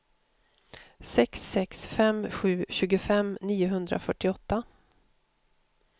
sex sex fem sju tjugofem niohundrafyrtioåtta